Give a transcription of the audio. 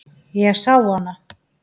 Ég sá hana.